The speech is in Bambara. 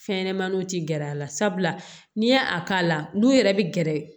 Fɛn ɲɛnɛmaniw tɛ gɛrɛ a la sabula n'i ye a k'a la n'u yɛrɛ bɛ gɛrɛ